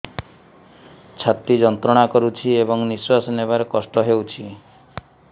ଛାତି ଯନ୍ତ୍ରଣା କରୁଛି ଏବଂ ନିଶ୍ୱାସ ନେବାରେ କଷ୍ଟ ହେଉଛି